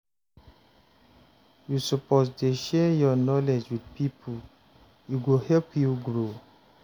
You suppose dey share your knowledge wit pipo, e go help you grow.